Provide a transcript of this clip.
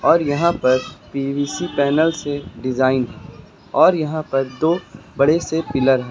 और यहां पर पी_वी_सी पैनल से डिजाइन और यहां पर दो बड़े से पिलर --